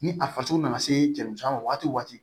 Ni a faso nana se cɛmuso ma waati o waati